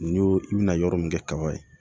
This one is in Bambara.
N'i y'o i bɛna yɔrɔ min kɛ kaba ye